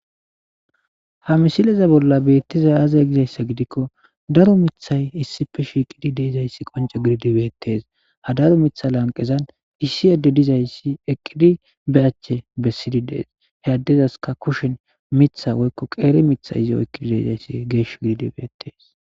Ha misile bolla betizayisi aze giyaba gidiko daro mithayika issi bolla shishidayisi betees ha daro mita matan issi ade eqidi be ache besidi he adezika ba kushen lafa mitha oyiqidayisi geshi gidi betees